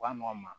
Wa nɔgɔn ma